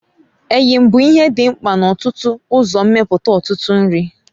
Eyịm bụ ihe dị mkpa n'ọtụtụ uzommeputa ụtụtụ nri.